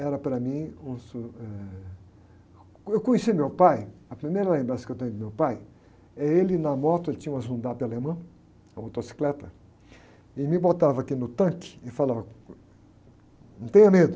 Era para mim um su... Eu conheci meu pai, a primeira lembrança que eu tenho de meu pai, é ele na moto, ele tinha uma Zundapp, alemã, uma motocicleta, e me botava aqui no tanque e falava, não tenha medo...